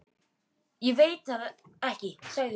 Ég veit það ekki sagði hún.